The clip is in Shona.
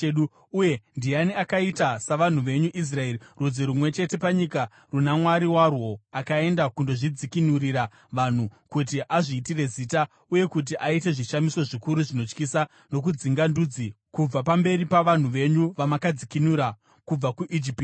Uye ndiani akaita savanhu venyu Israeri, rudzi rumwe chete panyika runa Mwari warwo akaenda kundozvidzikinurira vanhu, kuti azviitire zita, uye kuti aite zvishamiso zvikuru zvinotyisa, nokudzinga ndudzi kubva pamberi pavanhu venyu vamakadzikinura kubva kuIjipiti?